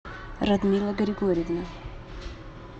радмила григорьевна